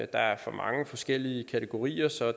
der er for mange forskellige kategorier så